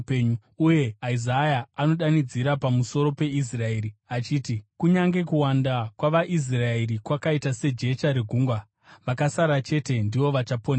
Uye Isaya anodanidzira pamusoro peIsraeri, achiti: “Kunyange kuwanda kwavaIsraeri kwakaita sejecha regungwa, vakasara chete ndivo vachaponeswa.